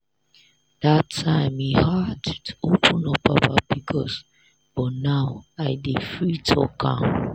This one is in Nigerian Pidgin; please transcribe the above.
dat time e hard to open up about pcos but now i dey free talk am.